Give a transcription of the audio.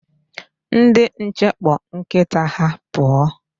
Ndi nche kpọ nkita ha pụọ.